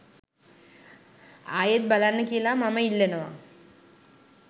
ආයෙත් බලන්න කියලා මම ඉල්ලනවා